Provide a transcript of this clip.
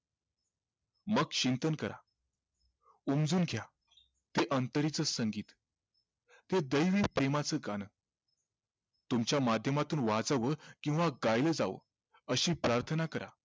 मग चिंतन करा उमजून घ्या ते अंतरेच संगीत ते दैवी प्रेमाचं गाणं तुमच्या माध्यमातून वाचावं किव्हा गायलं जावं अशी प्रार्थना करा